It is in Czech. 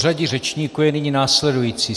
Pořadí řečníků je nyní následující.